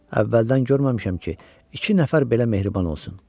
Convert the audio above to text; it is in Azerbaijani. Əvvəldən görməmişəm ki, iki nəfər belə mehriban olsun.